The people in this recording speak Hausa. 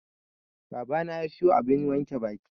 Babana ya siyo abun wanke baki.